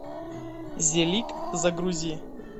зелиг загрузи